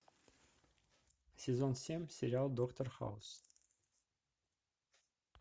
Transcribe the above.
сезон семь сериал доктор хаус